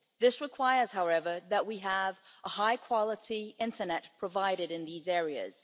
This requires, however, that we have a high-quality internet provided in these areas.